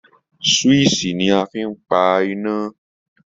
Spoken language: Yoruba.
Swíìṣì ni a fi ń pa iná